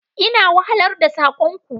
Ina wahalar da sakon ku.